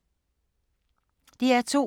DR2